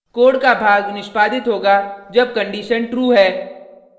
code का भाग निष्पादित होगा जब कंडिशन true है